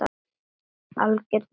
Algjört must í vetur.